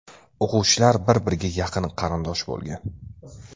O‘quvchilar bir-biriga yaqin qarindosh bo‘lgan.